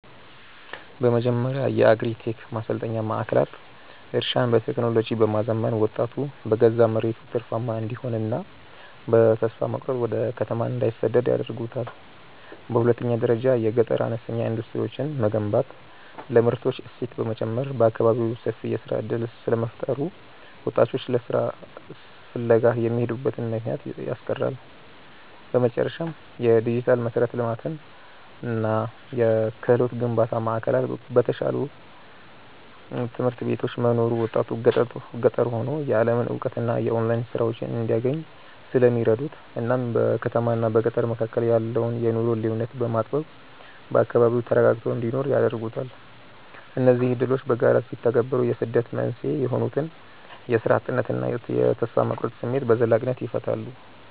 በመጀመሪያ የአግሪ-ቴክ ማሰልጠኛ ማዕከላት እርሻን በቴክኖሎጂ በማዘመን ወጣቱ በገዛ መሬቱ ትርፋማ እንዲሆንና በተስፋ መቁረጥ ወደ ከተማ እንዳይሰደድ ያደርጉታል። በሁለተኛ ደረጃ የገጠር አነስተኛ ኢንዱስትሪዎችን መገንባት ለምርቶች እሴት በመጨመር በአካባቢው ሰፊ የሥራ ዕድል ስለሚፈጥሩ ወጣቶች ለሥራ ፍለጋ የሚሄዱበትን ምክንያት ያስቀራሉ። በመጨረሻም፣ የዲጂታል መሠረተ ልማትና የክህሎት ግንባታ ማዕከላት በተሻሉ ትምህርት ቤቶች መኖሩ ወጣቱ ገጠር ሆኖ የዓለምን እውቀትና የኦንላይን ሥራዎችን እንዲያገኝ ስለሚረዱት እናም በከተማና በገጠር መካከል ያለውን የኑሮ ልዩነት በማጥበብ በአካባቢው ተረጋግቶ እንዲኖር ያደርጉታል። እነዚህ ዕድሎች በጋራ ሲተገበሩ የስደት መንስኤ የሆኑትን የሥራ እጥነትና የተስፋ መቁረጥ ስሜት በዘላቂነት ይፈታሉ።